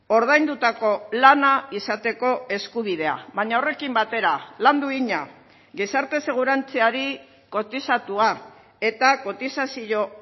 ordaindutako lana izateko eskubidea baina horrekin batera lan duina gizarte segurantzari kotizatua eta kotizazio